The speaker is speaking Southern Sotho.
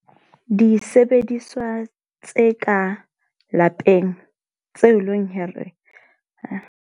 Disebediswa tse ka lapeng tse leng hore .